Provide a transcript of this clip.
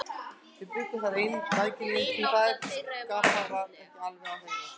Þau bjuggu þar ein, mæðginin, því faðerni Skapta var ekki alveg á hreinu.